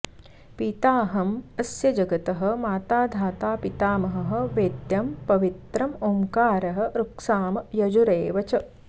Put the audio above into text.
पिताहम् अस्य जगतः माता धाता पितामहः वेद्यं पवित्रम् ओङ्कारः ऋक्साम यजुरेव च